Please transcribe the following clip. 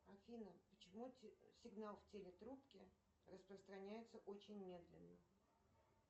афина почему сигнал в телетрубке распространяется очень медленно